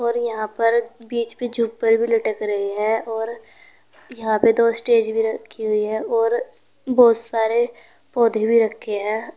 और यहां पर बीच पर झूमर भी लटक रही है और यहां पे दो स्टेज भी रखी हुई है और बहुत सारे पौधे भी रखें हैं।